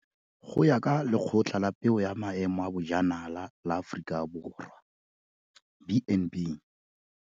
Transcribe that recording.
Go ya ka Lekgotla la Peo ya Maemo a Bojanala la Aforika Borwa, B and B.